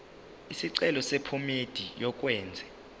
isicelo sephomedi yokwenze